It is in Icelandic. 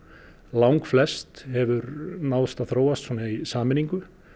langflest hefur náðst að þróast í sameiningu